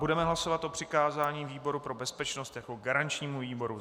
Budeme hlasovat o přikázání výboru pro bezpečnost jako garančnímu výboru.